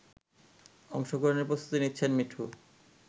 অংশগ্রহণের প্রস্তুতি নিচ্ছেন মিঠু